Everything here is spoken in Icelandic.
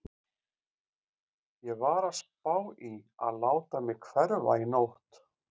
Ég var að spá í að láta mig hverfa í nótt.